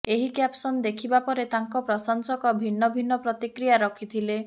ଏହି କ୍ୟାପ୍ସନ ଦେଖିବା ପରେ ତାଙ୍କ ପ୍ରଶଂସକ ଭିନ୍ନ ଭିନ୍ନ ପ୍ରତିକିୟା ରଖିଥିଲେ